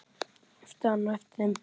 æpti hann á eftir þeim.